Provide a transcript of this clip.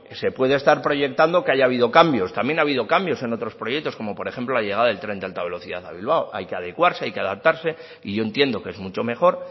se puede estar proyectando que haya habido cambios también ha habido cambios en otros proyectos como por ejemplo la llegada del tren de alta velocidad a bilbao hay que adecuarse hay que adaptarse y yo entiendo que es mucho mejor